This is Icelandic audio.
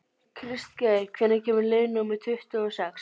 Kristgeir, hvenær kemur leið númer tuttugu og sex?